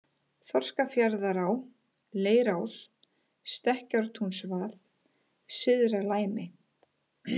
Þorskafjarðará, Leirás, Stekkjartúnsvað, Syðra-Læmi